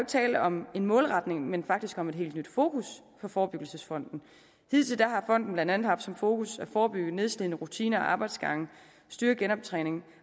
tale om en målretning men faktisk om et helt nyt fokus for forebyggelsesfonden hidtil har fonden blandt andet haft som fokus at forebygge nedslidende rutiner og arbejdsgange styrke genoptræning og